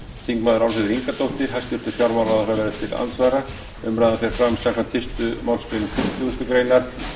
þingmenn álfheiður ingadóttir hæstvirtur fjármálaráðherra er til andsvara umræðan fer fram samkvæmt fyrstu málsgrein tuttugustu greinar